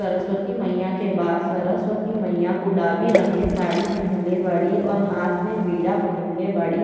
सरवस्ती मईया के बा। सरवस्ती मईया गुलाबी रंग के साड़ी पहिनले बाड़ी और हाथ में वीणा पकड़ले बाड़ी।